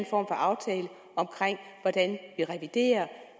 for aftale om hvordan vi reviderer